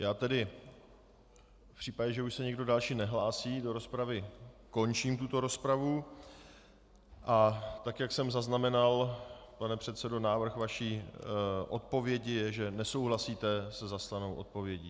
Já tedy v případě, že už se někdo další nehlásí do rozpravy, končím tuto rozpravu, a tak jak jsem zaznamenal, pane předsedo, návrh vaší odpovědi je, že nesouhlasíte se zaslanou odpovědí.